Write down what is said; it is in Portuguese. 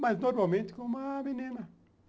Mas normalmente com uma menina.